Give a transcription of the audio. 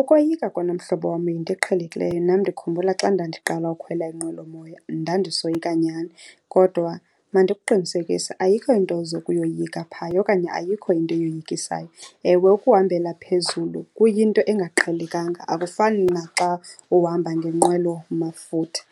Ukoyika kona mhlobo wam yinto eqhelekileyo. Nam ndikhumbula xa ndandiqala ukukhwela inqwelomoya ndandisoyika nyhani, kodwa mandikuqinisekise, ayikho into ozokuyoyika phaya okanye ayikho into eyoyikisayo. Ewe, ukuhambela phezulu kuyinto engaqhelekanga akufani naxa uhamba ngenqwelomafutha.